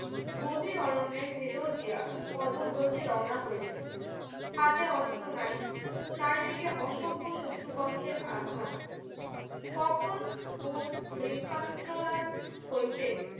গভীর অরণ্যের ভেতর দিয়া পদ ভোজে রৌনা হইলে হাতে অস্ত্র নাই চারিদিকে অসভ্য শত্রুপক্ষের আস্থানা কখন কোন ব্রিক্ষান ত্রনাল হইতে